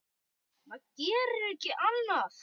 Maður gerir ekki annað!